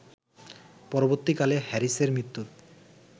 পরবর্তীকালে হ্যারিসের মৃত্যুর